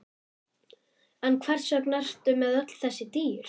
En hvers vegna ertu með öll þessi dýr?